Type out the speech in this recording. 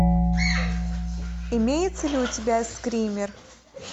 имеется ли у тебя скример